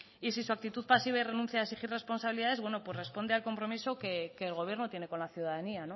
y si su actitud pasiva y renuncia a exigir responsabilidades bueno pues responde al compromiso que el gobierno tiene con la ciudadanía